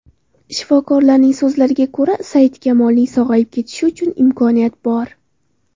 Shifokorlarning so‘zlariga ko‘ra, Saidkamolning sog‘ayib ketishi uchun imkoniyat bor.